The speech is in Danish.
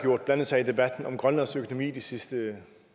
blandet sig i debatten om grønlands økonomi i de sidste